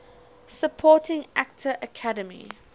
supporting actor academy